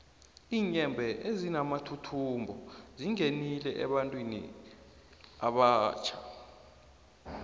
iinyembhe ezinamathuthumbo zingenile ebantwini abatjha